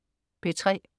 P3: